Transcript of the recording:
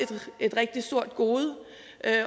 et rigtig stort gode